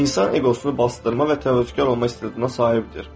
İnsan eqosunu basdırma və təvəkkülkar olma istəyinə sahibdir.